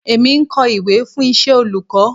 Èmi ń kọ ìwé fún iṣẹ́ olùkọ́.